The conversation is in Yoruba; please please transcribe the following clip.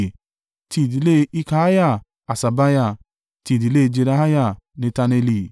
ti ìdílé Hilkiah, Haṣabiah; ti ìdílé Jedaiah, Netaneli.